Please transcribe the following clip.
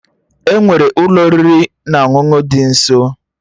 Enwere Ụlọ oriri na ọṅụṅụ dị nso